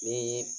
Ni